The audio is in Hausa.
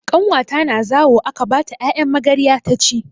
Ƙanwata na zawo aka bata 'ya'yan magarya taci.